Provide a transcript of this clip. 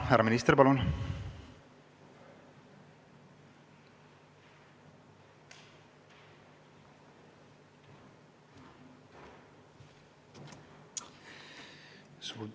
Härra minister, palun!